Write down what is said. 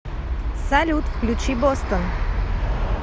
салют включи бостон